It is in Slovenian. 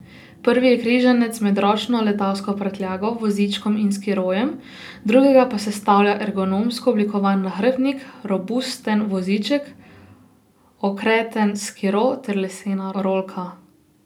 Prvi je križanec med ročno letalsko prtljago, vozičkom in skirojem, drugega pa sestavlja ergonomsko oblikovan nahrbtnik, robusten voziček, okreten skiro ter lesena rolka.